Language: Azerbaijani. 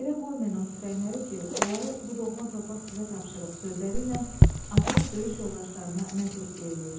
Yərə qoymayın o tüfəngləri ki, onları bu doğma torpaq sizə tapşırıb sözləri ilə Azad döyüş yoldaşlarına nə tövsiyə eləyir?